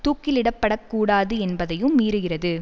தூக்கிலிடப்படக் கூடாது என்பதையும் மீறுகிறது